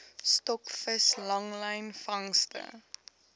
stokvis langlyn vangste